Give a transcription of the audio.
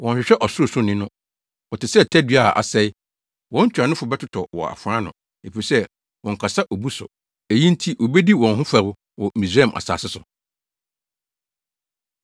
Wɔnhwehwɛ Ɔsorosoroni no; wɔte sɛ tadua a asɛe, wɔn ntuanofo bɛtotɔ wɔ afoa ano efisɛ, wɔnkasa obu so. Eyi nti wobedi wɔn ho fɛw wɔ Misraim asase so.